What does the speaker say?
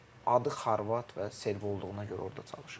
Adı xorvat və serb olduğuna görə orda çalışır.